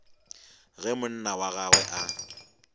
ge monna wa gagwe a